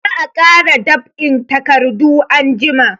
Za a kara dab'in takardu anjima.